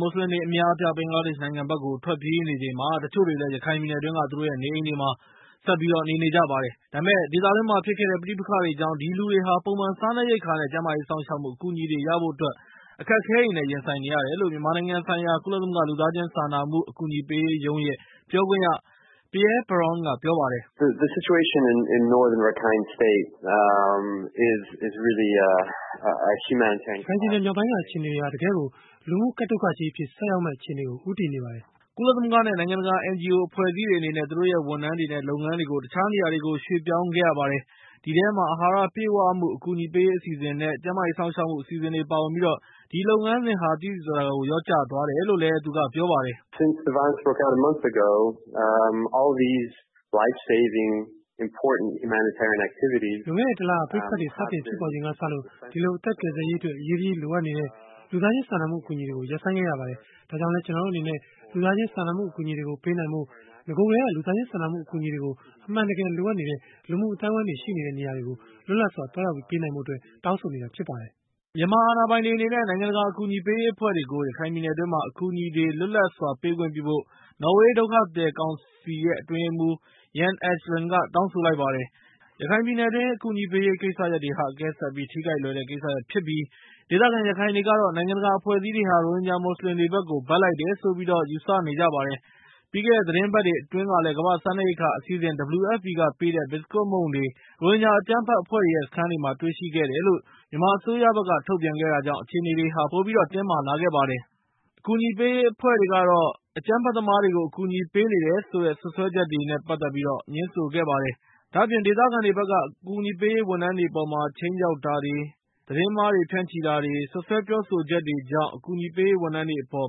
မွတ်စလင်တွေအများအပြား ဘင်္ဂလားဒေ့ရှ်နိုင်ငံဘက်ကို ထွက်ပြေးနေချိန်မှာ၊ တချို့တွေလည်း ရခိုင်ပြည်နယ် အတွင်းက သူတို့ရဲ့နေအိမ်တွေမှာ ဆက်ပြီးတော့ နေနေကြပါတယ်။ ဒါပေမဲ့ ဒေသတွင်းမှာဖြစ်ခဲ့တဲ့ ပဋိပက္ခတွေကြောင့် အဲဒီလူတွေဟာ ပုံမှန်စားနပ်ရိက္ခာ နဲ့ ကျန်းမာရေးစောင့်ရှောက်မှု အကူအညီတွေ ရဖို့အတွက် အခက်အခဲတွေနဲ့ ရင်ဆိုင်နေရတယ်လို့ မြန်မာနိုင်ငံဆိုင်ရာ ကုလသမဂ္ဂ လူသားချင်းစာနာမှုအကူအညီပေးရေးရုံးရဲ့ ပြောခွင့်ရ Pierre Peron က ပြောပါတယ်။ "ရခိုင်ပြည်နယ်မြောက်ပိုင်းက အခြေအနေတွေဟာ တကယ်ကို လူမှုကပ်ဒုက္ခ အခြေအနေကြီးဖြစ်ပါတယ်။" ကုလသမဂ္ဂ နဲ့ နိုင်ငံတကာ NGO အဖွဲ့အစည်းတွေအနေနဲ့ သူတို့ရဲ့ ဝန်ထမ်းတွေ နဲ့ လုပ်ငန်းတွေကို တခြားနေရာတွေကို ရွှေ့ပြောင်းခဲ့ ရပါတယ်။ အဲဒီထဲမှာ အဟာရပြည့်ဝမှုအကူအညီပေးရေးအစီအစဉ် နဲ့ ကျန်းမာရေးစောင့်ရှောက်မှုအစီအစဉ်တွေ ပါဝင်ပြီး၊ အဲဒီလုပ်ငန်းစဉ်တွေဟာ သိသိသာသာကို လျှော့ကျသွားတယ်လို့ သူကပြောပါတယ်။ "လွန်ခဲ့တဲ့ ၁ လ ပဋိပက္ခတွေစတင်ဖြစ်ပေါ်လာချိန်ကစပြီး၊ အဲဒီလို အသက်ကယ်ဆယ်ရေး အတွက် အရေးတကြီးလိုအပ်နေတဲ့ လူသားချင်းစာနာမှု အကူအညီတွေကို ရပ်ဆိုင်းခဲ့ရပါတယ်။ ဒါကြောင့် ကျနော်တို့အနေနဲ့ လူသားချင်းစာနာမှု အကူအညီတွေကို ပေးနိုင်ဖို့၊ နဂိုကတည်းကလူသားချင်းစာနာမှုအကူအညီတွေကို အမှန်တကယ် လိုအပ်နေတဲ့ လူမှုအအသိုက်အဝန်းတွေရှိနေတဲ့ နေရာတွေကို လွတ်လပ်စွာသွားရောက်ပြီး ပေးနိုင်ဖို့အတွက် တောင်းဆိုပါတယ်။" မြန်မာအာဏာပိုင်တွေအနေနဲ့ နိုင်ငံတကာအကူအညီပေးရေးအဖွဲ့တွေကို ရခိုင်ပြည်နယ် အတွင်းမှာ အကူအညီတွေလွတ်လပ်စွာပေးခွင့်ပြုဖို့ နော်ဝေးဒုက္ခသည်ကောင်စီရဲ့ အတွင်းရေးမှူး Jan Egeland က တောင်းဆိုလိုက်ပါတယ်။ ရခိုင်ပြည်နယ်အတွင်းက အကူအညီပေးရေး ကိစ္စတွေဟာ၊ အကဲဆတ်ပြီး ထိခိုက်လွယ်တဲ့ကိစ္စရပ်ဖြစ်ပြီး၊ ဒေသခံရခိုင်တွေကတော့ နိုင်ငံတကာအဖဲွဲ့အစည်းတွေဟာ ရိုဟင်ဂျာမွတ်စလင် တွေကို ဘက်လိုက်တယ်ဆိုပြီး၊ ယူဆနေကြပါတယ်။ ပြီးခဲ့တဲ့သီတင်းပတ်တွေအတွင်းကလည်း ကမ္ဘာ့စားနှပ်ရိက္ခာအစီအစဉ် WFP က ပေးနေတဲ့ ဘီစကွတ်မုန့်တွေ ရိုဟင်ဂျာအကြမ်းဖက်အဖွဲ့တွေရဲ့ စခန်းတွေမှာ တွေ့ရှိခဲ့တယ်လို့ မြန်မာအစိုးရက ထုတ်ပြန်ခဲ့တာကြောင့် အခြေအနေတွေ ပိုတင်းမာလာခဲ့ပြီး၊ အကြမ်းဖက်သမားတွေကို အကူအညီပေးနေတယ်လို့ စွပ်စွဲချက်တွေကို ငြင်းဆိုလိုက်ပါတယ်။ ဒါ့အပြင် ဒေသခံတွေက အကူအညီပေးရေးဝန်ထမ်းတွေ အပေါ်မှာ ခြိမ်းခြောက်တာတွေ၊ သတင်းမှားတွေနဲ့ စွပ်စွဲပြောဆိုတာတွေကြောင့်တယ်လို့ အကူအညီပေးရေး ဝန်ထမ်းတွေ အပေါ်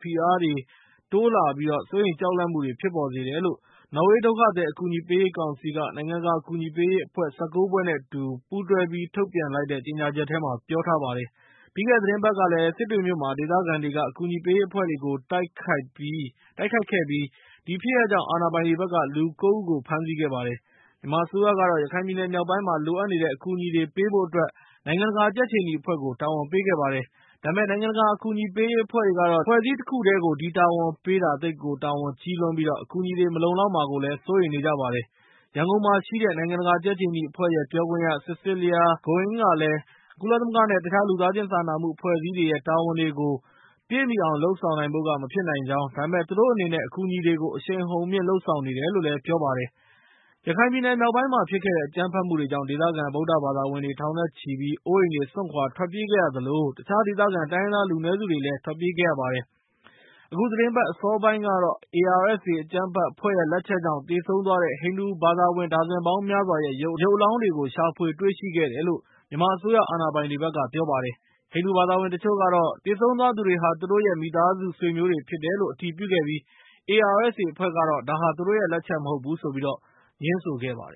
ဖိအားတွေ စိုးရိမ်ကြောက်လန့်စိတ်တွေ့ဖြစ်ပေါ်စေတယ်လို့ နော်ဝေးဒုက္ခသည် အကူအညီ ပေးရေးကောင်စီက နိုင်ငံတကာအကူအညီပေးရေးအဖွဲ့ ၁၉ ဖွဲ့ နဲ့ အတူပူးတွဲပြီး ထုတ်ပြန်လိုက်တဲ့ကြေညာချက်မှာ ပြောထားပါတယ်။ ပြီးခဲ့တဲ့သီတင်းပတ်ကလည်း စစ်တွေမြို့မှာ ဒေသခံတွေက အကူအညီပေးရေးအဖွဲ့တွေကို တိုက်ခိုက်ခဲ့ပြီး၊ ဒီဖြစ်ရပ်ကြောင့် အာဏာပိုင်တွေ ဘက်က လူ ၉ ဦးကို ဖမ်းဆီးခဲ့ပါတယ်။ မြန်မာအစိုးရကတော့ ရခိုင်ပြည်နယ်မြောက်ပိုင်းမှာ လိုအပ်နေတဲ့ အကူအညီတွေကိုပေးဖု့ိ အတွက် ၊ နိုင်ငံတကာကြက်ခြေနီအဖွဲ့ကို တာဝန်ပေးခဲ့ပါတယ်။ ဒါပေမဲ့ နိုင်ငံတကာ အကူအညီပေးရေးအဖွဲ့တွေကတော့ - အဖွဲ့တခုတည်းကို ဒီတာဝန်ပေးတာသိပ်ကို တာဝန်ကြီးလွန်းပြီး၊ အကူအညီတွေမလုံလောက်မှာကို စိုးရိမ်နေကြပါတယ်။ ရန်ကုန်မှာရှိတဲ့ နိုင်ငံတကာကြက်ခြေနီအဖွဲ့ရဲ့ ပြောခွင့်ရ Cecilia Goin ကလည်း ကုလသမဂ္ဂ နဲ့ တခြားလူသားချင်းစာနာမှုအဖွဲ့အစည်းတွေရဲ့ တာဝန်တွေကို ပြည့်မှီအောင်လုပ်ဆောင်နိုင်ဖု့ိက မဖြစ်နိုင်ကြောင်း၊ ဒါပေမဲ့ သူတို့အနေနဲ့ အကူအညီတွေကို အရှိန်အဟုန်မြှင့်လုပ်ဆောင်နေတယ်လို့ ပြောလိုက်ပါတယ်။ ရခိုင်ပြည်နယ်မြောက်ပိုင်းမှာဖြစ်ခဲ့တဲ့ အကြမ်းဖက်မှုတွေကြောင့်၊ ဒေသခံ ဗုဒ္ဓဘာသာဝင်တွေ ထောင်နဲ့ချီပြီး အိုးအိမ်စွန့်ခွာထွက်ပြေးခဲ့ရသလို၊ တခြားဒေသခံ တိုင်းရင်းသားတွေလူနည်းစုတွေလည်း ထွက်ပြေးခဲ့ရပါတယ်။ အခုသီတင်းပတ် အစောပိုင်းကတော့ - ARSA အကြမ်းဖက်အဖွဲ့ရဲ့ လက်ချက်ကြောင့် သေဆုံးသွားတဲ့ ဟိန္ဒူဘာသာဝင်ဒါဇင်ပေါင်းများစွာရဲ့ ရုပ်အလောင်းတွေကို ရှာဖွေတွေ့ရှိခဲ့တယ်လို့ မြန်မာအစိုးရအာဏာပိုင်တွေဘက်က ပြောပါတယ်။ ဟိန္ဒူဘာသာဝင်တချို့ကတော့ တချို့သေဆုံးသွားသူတွေဟာ သူတို့ရဲ့ မိသားစုဆွေမျိုးတွေဖြစ်တယ်လို့ အတည်ပြုခဲ့ပြီး၊ ARSA အဖွဲ့ကတော့ ဒါဟာ သူတို့လက်ချက်မဟုတ်ဘူးလို့ ငြင်းဆိုခဲ့ပါတယ်